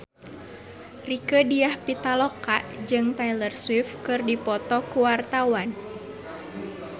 Rieke Diah Pitaloka jeung Taylor Swift keur dipoto ku wartawan